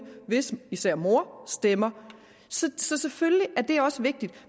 hvis især mor stemmer så selvfølgelig er det også vigtigt